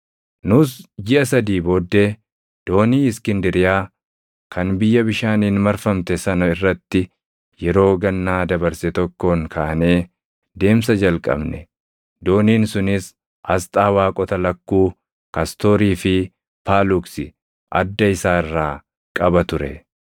Nus jiʼa sadii booddee doonii Iskindiriyaa kan biyya bishaaniin marfamte sana irratti yeroo gannaa dabarse tokkoon kaanee deemsa jalqabne; dooniin sunis asxaa waaqota lakkuu Kastoorii fi Paaluksi adda isaa irraa qaba ture.